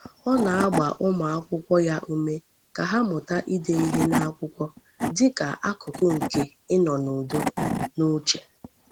Ọ na-agba ụmụakwụkwọ ya ume ka ha mụta ide ihe n’akwụkwọ dị ka akụkụ nke inọ n’udo n’uche.